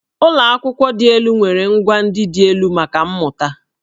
Ụlọ akwụkwọ dị elu nwere ngwà ndị dị elu maka mmụta.